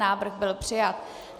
Návrh byl přijat.